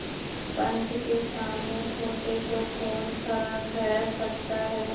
पंच के सामने खोटे को कौन खरा कह सकता है